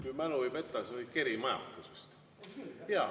Kui mälu ei peta, siis see oli vist Keri majakas.